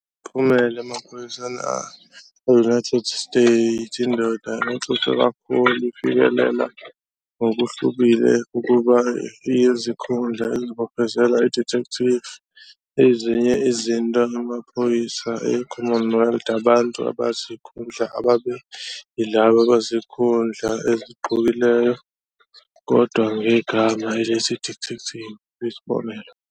Imiphumela emaphoyiseni e-United States, indoda orhoxiswa kakhulu ifikelela ngokuhlukile ukuba iyizikhundla ezibophezela i-"Detective". Ezinye izinto imaphoyisa e-Commonwealth, abantu abazikhundla ababe yilabo abazikhundla ezigqokileyo kodwa ngegama elithi "Detective", isibonelo.